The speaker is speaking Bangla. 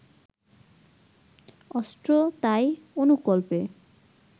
অস্ট্রো-তাই অনুকল্পে